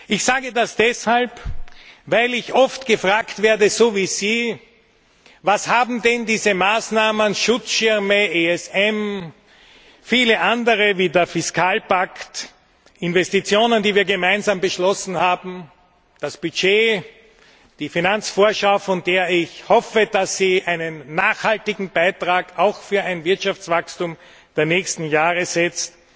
Ich sage das deshalb, weil ich oft gefragt werde Was haben denn diese Maßnahmen Schutzschirme, ESM, viele andere wie der Fiskalpakt, Investitionen, die wir gemeinsam beschlossen haben, das Budget, die Finanzvorschau, von der ich hoffe, dass sie einen nachhaltigen Beitrag auch für ein Wirtschaftswachstum der nächsten Jahre setzt